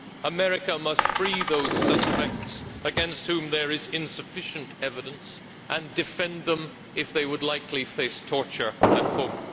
America must free those suspects against whom there is insufficient evidence and defend them if they are likely to face torture at home.